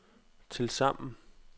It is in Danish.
tilsammen